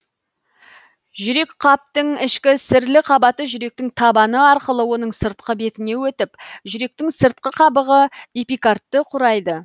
жүрекқаптың ішкі сірлі қабаты жүректің табаны арқылы оның сыртқы бетіне өтіп жүректің сыртқы қабығы эпикардты құрайды